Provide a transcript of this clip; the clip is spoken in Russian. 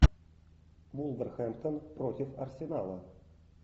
вулверхэмптон против арсенала